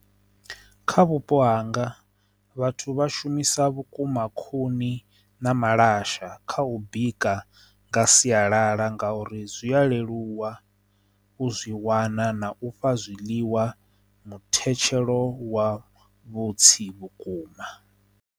Kha vhupo hanga vhathu vha shumisa vhukuma khuni na malasha kha u bika nga sialala nga uri zwi a leluwa u zwi wana na u fha zwiḽiwa muthetshelo wa vhutsilu vhukuma.